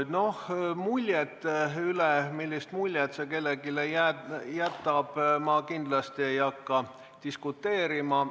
Selle üle, millise mulje see kellelegi jättis, ma kindlasti ei hakka diskuteerima.